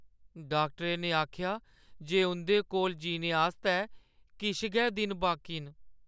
डाक्टरै ने आखेआ जे उंʼदे कोल जीने आस्तै किश गै दिन बाकी न।